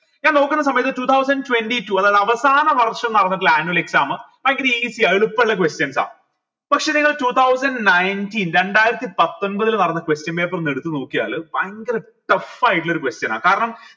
ഞാൻ നോക്കിന്ന സമയത്ത് two thousand twenty two അതായത് വർഷം നടന്നിട്ടുള്ള annual exam easy യ എളുപ്പള്ള questions ആ പക്ഷെ നിങ്ങൾ two thousand nineteen രണ്ടായിരത്തി പത്തൊമ്പതിൽ നടന്ന question paper ഒന്ന് എടുത്ത് നോക്കിയാൽ ഭയങ്കര tough ആയിട്ടുള്ള ഒരു question ആ കാരണം